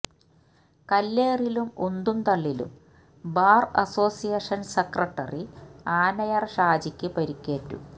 കല്ലേറിലും ഉന്തും തള്ളിലും bar association secretary Anayara ഷാജിക്ക് പരിക്കേറ്റു